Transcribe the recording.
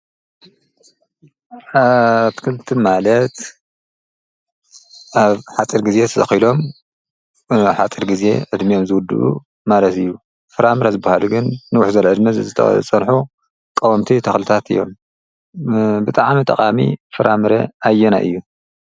ኣትክልቲ ማለት ኣብ ሓፂር ግዜ ተተኺሎም ኣብ ሓፂር ግዜ ዕድሚኦም ዝውድኡ ማለት እዩ። ፍራምረ ዝብሃሉ ግን ንውሕ ዝበለ ዕድመ ዝፀንሑ ቀወምቲ ተኽልታት እዮም። ብጣዕሚ ጠቓሚ ፍራምረ ኣየናይ እዩ ?